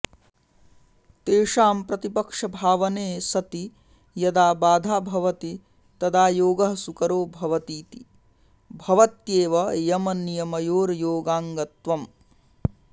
तेषां प्रतिपक्षभावने सति यदा बाधा भवति तदा योगः सुकरो भवतीति भवत्येव यमनियमयोर्योगाङ्गत्वम्